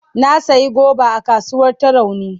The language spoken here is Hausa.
Na sayi goba a kasuwar Tarauni.